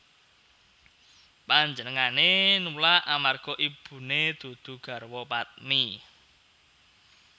Panjenengané nulak amarga ibuné dudu garwa padmi